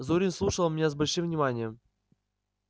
зурин слушал меня с большим вниманием